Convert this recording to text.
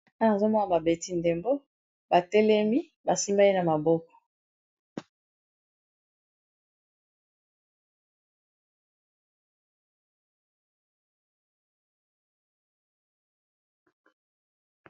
Awa nazomona babeti ndembo ya makolo, batelemi basimbani na maboko.